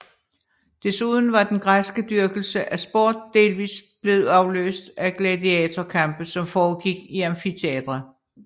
Desuden var den græske dyrkelse af sport delvis blevet afløst af gladiatorkampe som foregik i amfiteatre